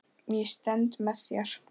Ég stend með þér.